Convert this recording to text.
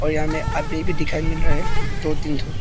और यहां में आदमी भी दिखाई मिल रहे हैं दो तीन ठो।